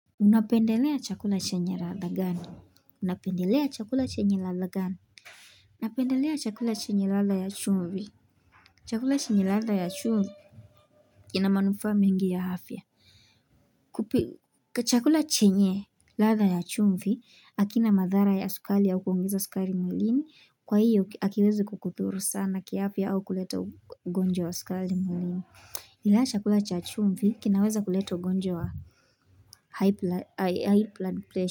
Unapendelea chakula chenye ladha gani? Unapendelea chakula chenye latha gani? Unapendelea chakula chenye ladha ya chumbi chakula chenye latha ya chumbi kina manufa mingi ya hafya Kuchakula chenye ladha ya chumvi hakina madhara ya skali au kuongeza skali mwlini kwa hiyo akiwezi kukuthuru sana kiafya au kuleta ugonjwa wa skali mwlini Ingawa chakula cha chumvi kinaweza kuleta ugonjwa wa high blood pressure.